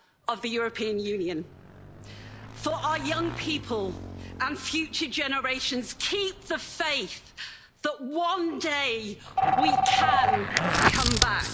of the European Union. For our young people and future generations, keep the faith that one day we can come back.